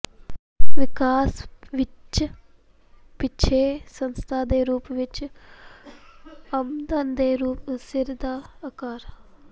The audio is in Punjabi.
ਵਿਕਾਸ ਵਿੱਚ ਪਿੱਛੇ ਸੰਸਥਾ ਦੇ ਰੂਪ ਵਿਚ ਆਮਦਨ ਦੇ ਸਿਰ ਦਾ ਆਕਾਰ